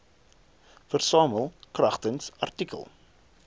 versamel kragtens artikel